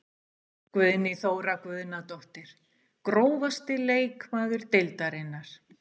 Guðný Þóra Guðnadóttir Grófasti leikmaður deildarinnar?